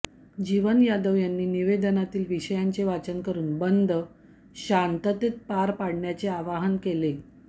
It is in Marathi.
जीवन यादव यांनी निवेदनातील विषयांचे वाचन करून बंद शांततेत पार पाडण्याचे आवाहन केले